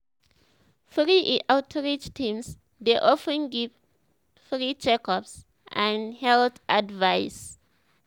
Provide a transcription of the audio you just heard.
true e outreach teams dey of ten give free check-ups and health advice.